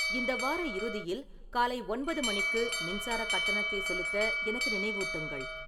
இந்த வார இறுதியில் காலை ஒன்பது மணிக்கு மின்சார கட்டணத்தை செலுத்த எனக்கு நினைவூட்டுங்கள்